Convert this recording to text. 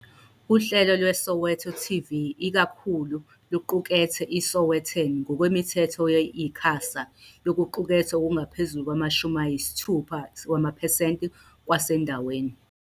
Uhlelo lweSoweto TV ikakhulu lukuqukethe iSowetan ngokwemithetho ye-ICASA yokuqukethwe okungaphezu kwama-60 wamaphesenti kwasendaweni.